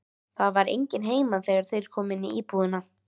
Það var enginn heima þegar þeir komu inn í íbúðina.